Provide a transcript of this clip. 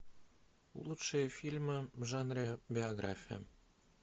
лучшие фильмы в жанре биография